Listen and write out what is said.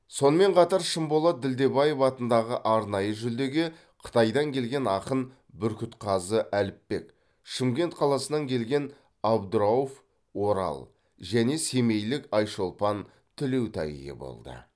сонымен қатар шынболат ділдебаев атындағы арнайы жүлдеге қытайдан келген ақын бүркітқазы әліпбек шымкент қаласынан келген абдырауф орал және семейлік айшолпан тілеутай ие болды